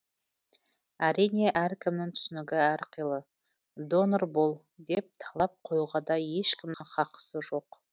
әрине әркімнің түсінігі әрқилы донор бол деп талап қоюға да ешкімнің хақысы жоқ